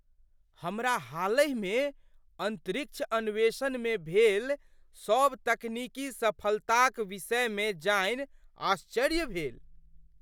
हमरा हालहिमे अन्तरिक्ष अन्वेषणमे भेल सभ तकनीकी सफलताक विषयमे जानि आश्चर्य भेल।